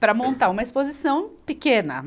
para montar uma exposição pequena.